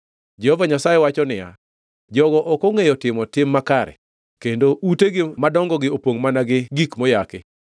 Jehova Nyasaye wacho niya, “Jogo ok ongʼeyo timo tim makare kendo utegi madongogi opongʼ mana gi gik moyaki.”